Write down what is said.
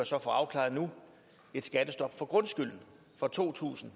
så få afklaret nu et skattestop for grundskylden fra to tusind